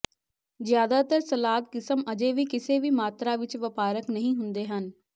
ਜਿਆਦਾਤਰ ਸਲਾਦ ਕਿਸਮ ਅਜੇ ਵੀ ਕਿਸੇ ਵੀ ਮਾਤਰਾ ਵਿੱਚ ਵਪਾਰਕ ਨਹੀਂ ਹੁੰਦੇ ਹਨ